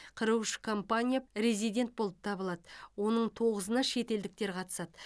қырық үш компания резидент болып табылады оның тоғызына шетелдіктер қатысады